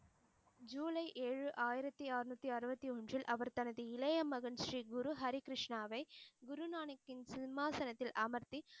ஜூலை ஏழு ஆயிரத்தி ஆறுநூத்தி அறுவத்தி ஒன்றில் அவர் தனது இளைய மகன் ஸ்ரீ குரு ஹரிகிருஷ்ணாவை குரு ஞானத்தின் சிம்மாசனத்தில் அமர்த்தி